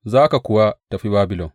Za ka kuwa tafi Babilon.